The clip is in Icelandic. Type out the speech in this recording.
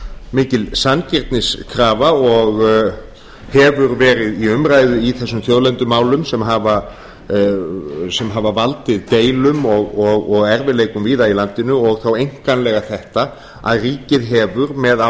mikil sanngirniskrafa og hefur verið í umræðu í þessum þjóðlendumálum sem hafa valdið deilum og erfiðleikum víða á landinu og þá einkanlega þetta að ríkið hefur með